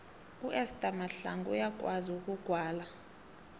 uester mahlangu uyakwazi ukugwala